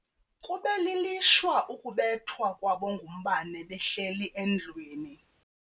Kube lilishwa ukubethwa kwabo ngumbane behleli endlwini.